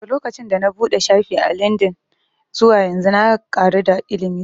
Daga lokacin da na buɗe shafi a lindin zuwa yanzu na ƙaru da ilimi sosai